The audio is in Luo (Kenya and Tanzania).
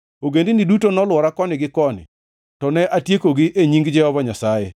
Ogendini duto nolwora koni gi koni, to ne atiekogi e nying Jehova Nyasaye.